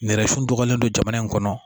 Nɛrɛ funu dɔgɔlen don jamana in kɔnɔ